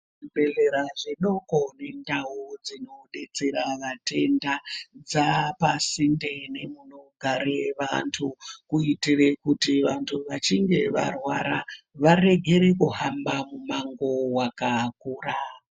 Zvibhedhlera zvidoko nendau dzinodetsera vatenda, dzaapasinde nemunogare vantu, kuitire kuti vantu vachinge varwara, varegere kuhamba mumango wakakura.